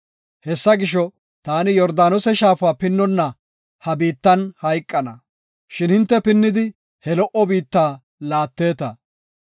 Hessa gisho, taani Yordaanose shaafa pinnonna ha biittan hayqana, shin hinte pinnidi he lo77o biitta laatteeta.